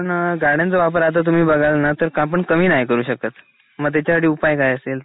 पण गाड्यांचा वापर आता तुम्ही बघाल ना तर आपण कमी नाही करू शकत. मग त्याच्या साठी उपाय काय असेल?